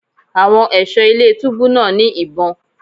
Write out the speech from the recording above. Àwọn ẹ̀ṣọ́ ilé túbú náà ní ìbọn.